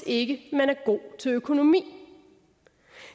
ikke er god til økonomi